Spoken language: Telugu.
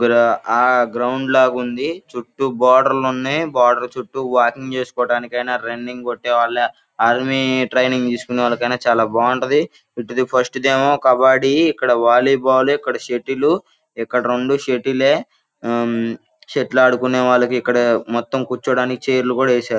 ఇక్కడ ఆ గ్రౌండ్ లాగుంది చుట్టూ బోర్డర్లు న్నాయి బోర్డర్ చుట్టూ వాకింగ్ చేసుకోవటానికినా రన్నింగ్ కొట్టేవాళ్ళ ఆర్మీ ట్రైనింగ్ తీసుకునే వాళ్ళకైనా చాలా బాగుంటది .ఇటుది ఫస్ట్ దేమో కబడ్డీ ఇక్కడ వాలీబాల్ సెట్టిల్ ఇక్కడ రెండూ సెటీలే ఆ సెట్టిల్ ఆడుకొనేవాళ్ళకి మొత్తం కూర్చోడానికి ఛైర్లు కూడా ఏసారు.